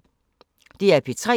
DR P3